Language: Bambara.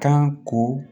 Kan ko